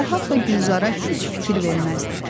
Fərhad da Gülzara heç fikir verməzdi.